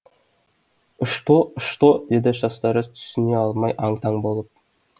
ышто ышто деді шаштараз түсіне алмай аң таң боп